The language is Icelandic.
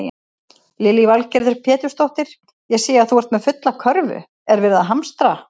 Lillý Valgerður Pétursdóttir: Ég sé að þú ert með fulla körfu, er verið að hamstra?